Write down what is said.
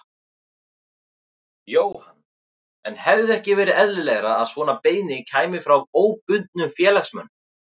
Jóhann: En hefði ekki verið eðlilegra að svona beiðni kæmi frá óbundnum félagsmönnum?